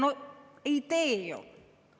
No ei tee ju!